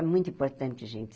É muito importante, gente.